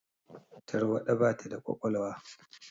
Tarwaɗa ba ta da ƙwaƙwalwa